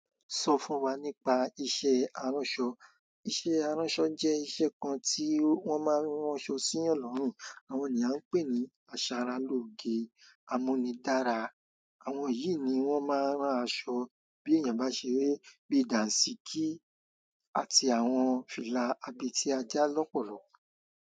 So fún wa nípa iṣẹ́ aranso. Iṣẹ́ aranso je iṣẹ́ kan ti won ma ran aṣọ si yan lorun. Àwọn ènìyàn pé ní asaralóge, amúnidára. Àwọn yìí ni wọ́n máa ń rán aṣọ bí èèyàn bá n ṣeré bíi dànsíkí àti àwọn fìlà abẹ tí a já lọ́pọ̀lọ̀.